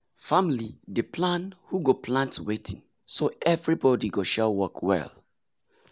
family dey plan who go plant wetin so everybody go share work well.